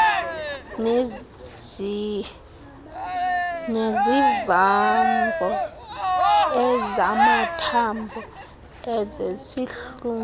nezivamvo ezamathambo ezezihlunu